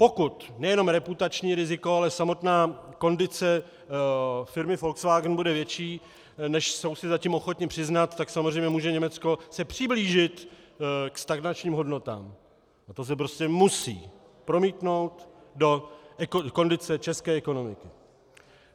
Pokud nejenom reputační riziko, ale samotná kondice firmy Volkswagen bude větší, než jsou si zatím ochotni přiznat, tak samozřejmě může Německo se přiblížit ke stagnačním hodnotám a to se prostě musí promítnout do kondice české ekonomiky.